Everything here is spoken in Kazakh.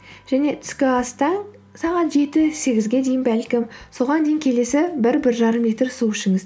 және түскі аста сағат жеті сегізге дейін бәлкім соған дейін келесі бір бір жарым литр су ішіңіз